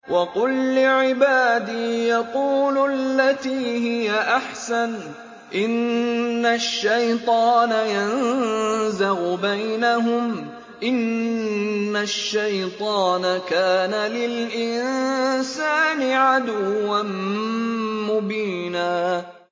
وَقُل لِّعِبَادِي يَقُولُوا الَّتِي هِيَ أَحْسَنُ ۚ إِنَّ الشَّيْطَانَ يَنزَغُ بَيْنَهُمْ ۚ إِنَّ الشَّيْطَانَ كَانَ لِلْإِنسَانِ عَدُوًّا مُّبِينًا